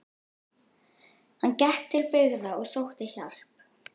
Hann gekk til byggða og sótti hjálp.